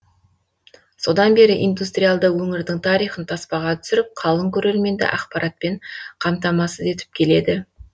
содан бері индустриалды өңірдің тарихын таспаға түсіріп қалың көрерменді ақпаратпен қамтамасыз етіп келеді